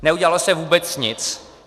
Neudělalo se vůbec nic.